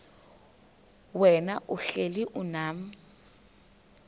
wena uhlel unam